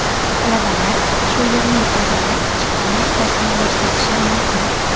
Talabalar shu yerning o‘zida chiptani rasmiylashitirishi mumkin .